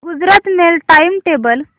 Gujarat Mail time table